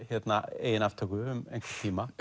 eigin aftöku um einhvern tíma